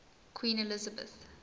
queen elizabeth